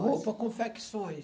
Roupa confecções.